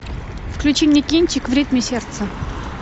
включи мне кинчик в ритме сердца